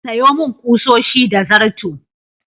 Sayo min ƙusoshi da zarto.